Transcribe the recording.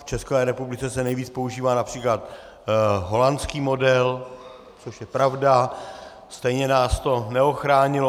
V České republice se nejvíc používá například holandský model, což je pravda, stejně nás to neochránilo.